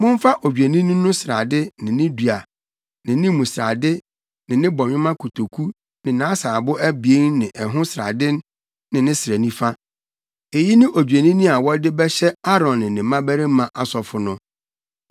“Momfa odwennini no srade ne ne dua ne ne mu srade ne ne bɔnwoma kotoku ne nʼasaabo abien ne ɛho srade ne ne srɛ nifa. Eyi ne odwennini a wɔde bɛhyɛ Aaron ne ne mmabarima asɔfo no.